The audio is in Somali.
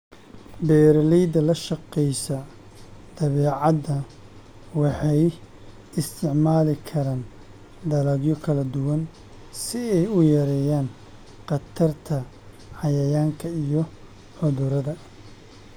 Beeraleyda la shaqeysa dabeecadda waxay isticmaali karaan dalagyo kala duwan si ay u yareeyaan khatarta cayayaanka iyo cudurrada.